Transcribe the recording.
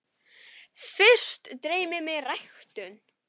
Fyrst dreymir mig ræktun.